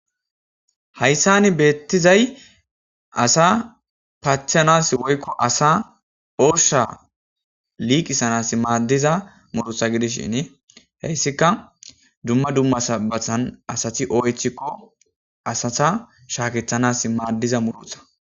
Haysane be'ettizay, asa patthanasi woyko asa ooshsha liqqisanasi maaddiza muruta gidishini, he izikka dumma dumma sanibbathan asati ooyettiko asatta shaakanasi maaddiza muruta.